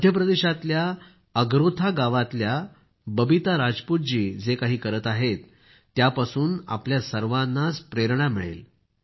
मध्य प्रदेशातल्या अगरोथा गावातल्या बबीता राजपूत जी जे काही करीत आहेत त्यापासून आपल्या सर्वांनाच प्रेरणा मिळेल